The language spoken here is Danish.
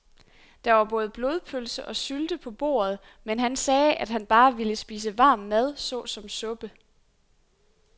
Der var både blodpølse og sylte på bordet, men han sagde, at han bare ville spise varm mad såsom suppe.